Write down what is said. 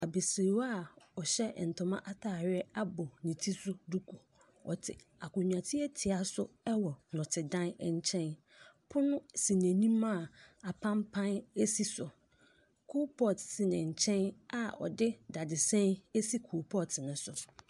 Abasiriwa ɔhyɛ ntoma ataadeɛ abɔ ne ti so duku. Ɔte akonwa tiatia so ɛwɔ nɔte dan nkyɛn. Pono si n'anim a apanpan si so. Kolpɔt si nenkyɛn a ɔde dadesɛn esi kolpɔt no so.